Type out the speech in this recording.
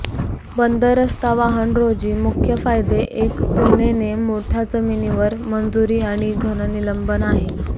बंद रस्ता वाहन रोजी मुख्य फायदे एक तुलनेने मोठ्या जमिनीवर मंजुरी आणि घन निलंबन आहेत